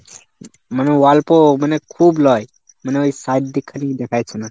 মানে অল্প মানে খুব লয়, মানে ওই side দিকটা কিছু দেখা যাচ্ছে না।